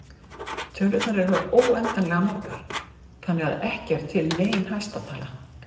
Tölurnar eru óendanlega margar þannig að ekki er til nein hæsta tala.